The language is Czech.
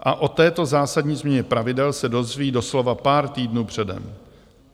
A o této zásadní změně pravidel se dozví doslova pár týdnů předem.